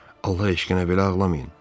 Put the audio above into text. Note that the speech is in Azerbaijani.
Allah eşqinə belə ağlamayın.